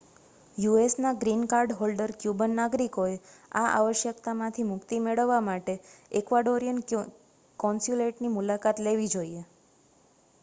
યુએસના green card holder Cuban નાગરિકોએ આ આવશ્યકતામાંથી મુક્તિ મેળવવા માટે એક્વાડોરિયન કૉન્સ્યુલેટની મુલાકાત લેવી જોઈએ